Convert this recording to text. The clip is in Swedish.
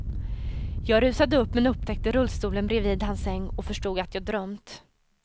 Jag rusade upp men upptäckte rullstolen bredvid hans säng och förstod att jag drömt.